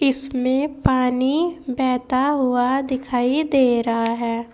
इसमें पानी बहता हुआ दिखाई दे रहा है।